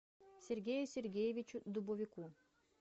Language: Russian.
сергею сергеевичу дубовику